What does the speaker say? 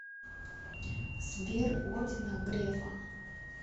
сбер ордена грефа